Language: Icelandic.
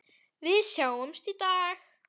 Við sjáumst í dag.